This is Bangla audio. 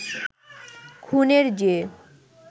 খুনের যে